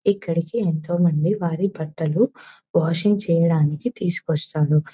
ఇక్కడకి ఎంతో మంది వారి భర్తలు వాషింగ్ చేయడానికి తీసుకొస్తారు.